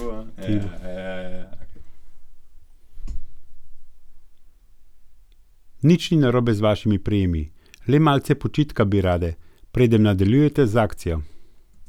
Nič ni narobe z vašimi prijemi, le malce počitka bi rade, preden nadaljujete z akcijo.